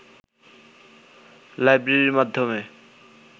লাইব্রেরীর মাধ্যমে